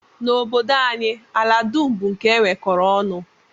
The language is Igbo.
N'obodo anyị, ala dum bụ nke e nwekọrọ ọnụ